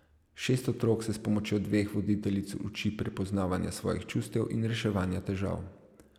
Šest otrok se s pomočjo dveh voditeljic uči prepoznavanja svojih čustev in reševanja težav.